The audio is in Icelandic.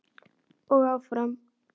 Og áfram.